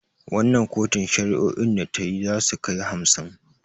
Wannan kotun shari'o'in da tayi zasu kai hamsin